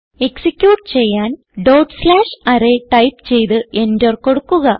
execute ചെയ്യാൻ dot slash array type ചെയ്ത് enter കൊടുക്കുക